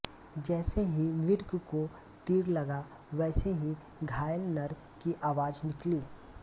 जैसे ही मृग को तीर लगा वैसे ही घायल नर की आवाज़ निकली